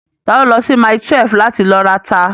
Ta ló lọ sí mile 12 láti lọ rata?